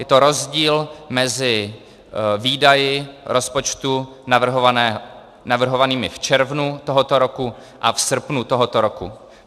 Je to rozdíl mezi výdaji rozpočtu navrhovanými v červnu tohoto roku a v srpnu tohoto roku.